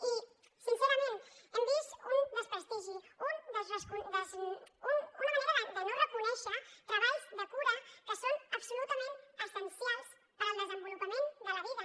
i sincerament hem vist un desprestigi una manera de no reconèixer treballs de cura que són absolutament essencials per al desenvolupament de la vida